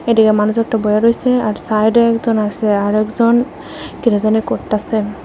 এডিকে মানুষ একটা বইসা রইসে আর সাইডে একজন আসে আর একজন কিডা জানি করতাসে।